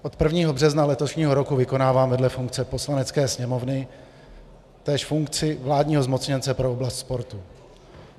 Od 1. března letošního roku vykonávám vedle funkce Poslanecké sněmovny též funkci vládního zmocněnce pro oblast sportu.